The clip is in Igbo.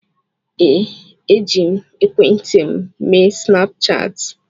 Ee, eji m ekwentị m eme snapchaatị.